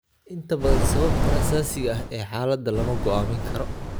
Inta badan sababta asaasiga ah ee xaaladda lama go'aamin karo.